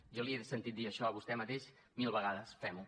jo li he sentit dir això a vostè mateix mil vegades fem ho